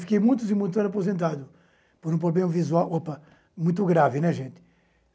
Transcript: Fiquei muitos e muitos anos aposentado por um problema visual opa muito grave, né gente.